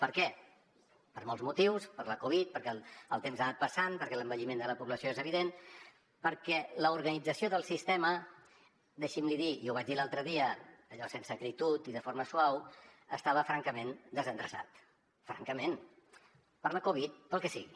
per què per molts motius per la covid perquè el temps ha anat passant perquè l’envelliment de la població és evident perquè l’organització del sistema deixi’m l’hi dir i ho vaig dir l’altre dia allò sense acritud i de forma suau estava francament desendreçat francament per la covid pel que sigui